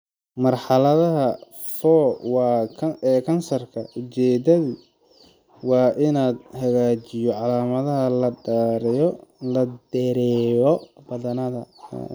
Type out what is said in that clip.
Marxaladda IV ee kansarka, ujeedadu waa in la hagaajiyo calaamadaha lana dheereeyo badbaadada.